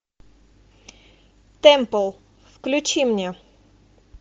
темпл включи мне